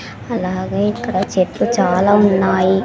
అలాగే ఇక్కడ చెట్లు చాలా ఉన్నాయి.